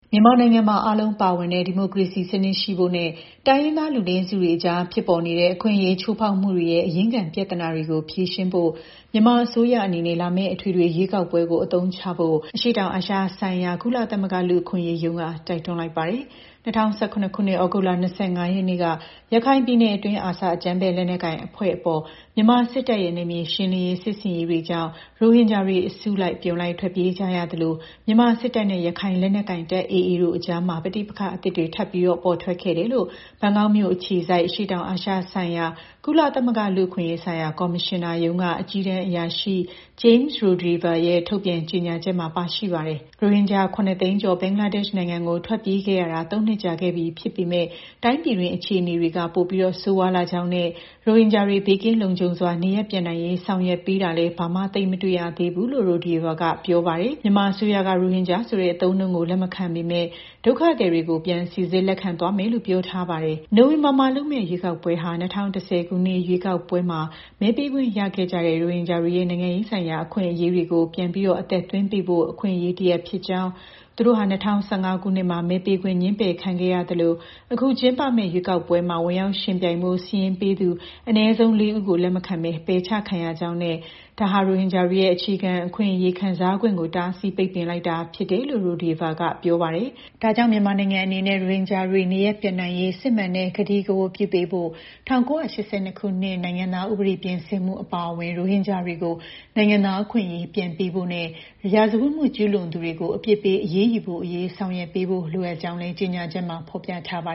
မြန်မာနိုင်ငံမှာ အားလုံးပါဝင်တဲ့ ဒီမိုကရေစီ အပြည့်အဝ ဖော်ဆောင်ရေးနဲ့ တိုင်းရင်းသား လူနည်းစုတွေအကြား ဖြစ်ပေါ်နေတဲ့ အခွင့်အရေး ချိုးဖောက်မှုတွေရဲ့ အရင်းခံ ပြဿနာတွေကို ဖြေရှင်းရေး မြန်မာအစိုးရအနေနဲ့ လာမယ့် အထွေထွေရွေးကောက်ပွဲကို အခွင့်အလန်းတရပ်အဖြစ် အသုံးချဖို့ အရှေ့တောင်အာရှဆိုင်ရာ ကုလသမဂ္ဂ လူ့အခွင့်အရေးရုံးက တိုက်တွန်းလိုက်ပါတယ်။ ၂၀၁၇ ခုနှစ် ဩဂုတ်လ ၂၅ ရက်နေ့က ရခိုင်ပြည်နယ်အတွင်း ARSA အကြမ်းဖက်လက်နက်ကိုင်အဖွဲ့ အပေါ် မြန်မာစစ်တပ်ရဲ့ နယ်မြေရှင်းလင်းရေး စစ်ဆင်ရေးတွေကြောင့် ရိုဟင်ဂျာတွေ အစုလိုက် အပြုံလိုက် ထွက်ပြေးကြရသလို မြန်မာစစ်တပ်နဲ့ ရခိုင်လက်နက်ကိုင်တပ် AAတို့အကြား ပဋိပက္ခအသစ်တွေ ထပ်ပြီးပေါ်ထွက်လာခဲ့တယ်လို့ ဘန်ကောက်မြို့အခြေစိုက် အရှေ့တောင်အာရှဒေသ၊ ကုလသမဂ္ဂ လူ့အခွင့်အရေးဆိုင်ရာ ကော်မရှင်နာရုံးက အကြီးတန်းအရာရှိ James Rodehaver ရဲ့ ဒီကနေ့ထုတ်ပြန် ကြေညာချက်မှာ ပါရှိပါတယ်။ ရိုဟင်ဂျာ ၇၂၀,၀၀၀ ဘင်္ဂလားဒေ့ရှ်နိုင်ငံကို ထွက်ပြေးခဲ့ကြရတာ ၃ နှစ်ကြာခဲ့ပြီ ဖြစ်ပေမဲ့ တိုင်းပြည်တွင်း အခြေအနေတွေက ပိုပြီး ဆိုးရွားလာကြောင်းနဲ့ ရိုဟင်ဂျာတွေ ဘေးကင်းလုံခြုံစွာ နေရပ်ပြန်နိုင်ရေး ဆောင်ရွက်ပေးတာလည်း ဘာမှ သိပ်မတွေ့သေးဘူးလို့ Rodehaver က ပြောပါတယ်။ မြန်မာအစိုးရက ရိုဟင်ဂျာဆိုတဲ့ အသုံးအနှုန်းကို လက်မခံပေမဲ့ ဒုက္ခသည်တွေကို ပြန်စိစစ်လက်ခံသွားမယ်လို့ ပြောထားပါတယ်။ နိုဝင်ဘာလမှာလုပ်မယ့် ရွေးကောက်ပွဲဟာ ၂၀၁၀ ခုနှစ် ရွေးကောက်ပွဲမှာ မဲပေးခွင့်ရရှိခဲ့ကြတဲ့ ရိုဟင်ဂျာတွေရဲ့ နိုင်ငံရေးဆိုင်ရာ အခွင့်အရေးတွေကို ပြန်လည် အသက်သွင်းပေးဖို့ အခွင့်အရေး တရပ်ဖြစ်ကြောင်း၊ သူတို့ဟာ ၂၀၁၅ ခုနှစ်မှာ မဲပေးခွင့် ငြင်းပယ်ခံခဲ့ရသလို အခု ကျင်းပမယ့် ရွေးကောက်ပွဲမှာ ဝင်ရောက် ယှဉ်ပြိုင်ဖို့ စာရင်းပေးသူ အနည်းဆုံး ၄ ဦးကို လက်မခံဘဲ ပယ်ချခံရကြောင်းနဲ့ ဒါဟာ ရိုဟင်ဂျာတွေရဲ့ အခြေခံ အခွင့်အရေးကို တားဆီး ပိတ်ပင်လိုက်တာဖြစ်တယ်လို့လည်း OHCHR အကြီးတန်း အရာရှိက ပြောပါတယ်။ ဒါကြောင့် မြန်မာနိုင်ငံအနေနဲ့ ရိုဟင်ဂျာတွေ နေရပ်ပြန်နိုင်ရေး စစ်မှန်တဲ့ ဂတိကဝတ်ပြု ပေးဖို့၊ ၁၉၈၂ နိုင်ငံသားဥပဒေ ပြင်ဆင်မှုအပါအဝင် ရိုဟင်ဂျာတွေကို နိုင်ငံသား အခွင့်အရေး ပြန်ပေးဖို့နဲ့ ရာဇဝတ်မှု ကျူးလွန်သူတွေကို အပြစ်ပေး အရေးယူဖို့အရေး ဆောင်ရွက်ပေးဖို့ လိုအပ်ကြောင်းလည်း OCHR အကြီးတန်းအရာရှိ James Rodehaver ရဲ့ ကြေညာချက်မှာ ဖော်ပြထားပါ